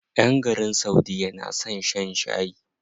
ƴan garin saudiya na son shan shayi.